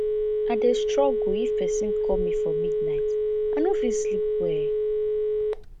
i dey struggle if person call me for midnight i no fit sleep well